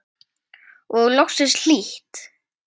Og vera loksins hlýtt!!